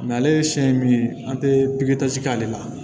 ale siɲɛ min ye an tɛ pikiri k'ale la